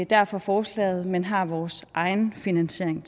derfor forslaget men har vores egen finansiering